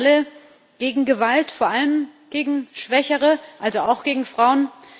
Sind wir nicht alle gegen Gewalt vor allem gegen Schwächere, also auch gegen Frauen?